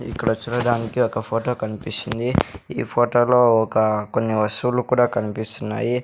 ఇక్కడ చూడడానికి ఒక ఫోటో కనిపిస్తుంది ఈ ఫోటోలో ఒక కొన్ని వస్తువులు కూడా కనిపిస్తున్నాయి.